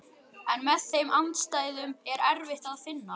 En með þeim andstæðum er erfitt að vinna.